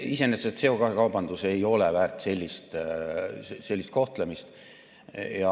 Iseenesest ei ole CO2 kaubandus väärt sellist kohtlemist.